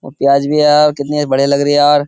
और प्याज भी यार। कितनी बढियां लग रही है यार।